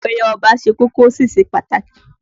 Oyè Ọba ṣe kókó, ó sì ṣe pàtàkì